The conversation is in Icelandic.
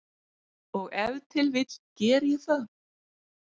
Og ef til vill geri ég það.